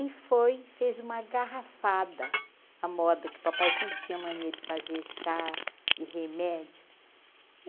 E foi, fez uma garrafada, a moda que papai sempre tinha a mania de fazer chá e remédio.